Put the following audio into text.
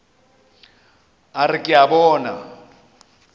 a re ke a bona